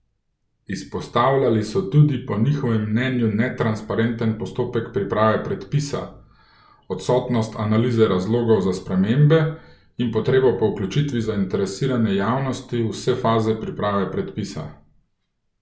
Izpostavljali so tudi po njihovem mnenju netransparenten postopek priprave predpisa, odsotnost analize razlogov za spremembe in potrebo po vključitvi zainteresirane javnosti v vse faze priprave predpisa.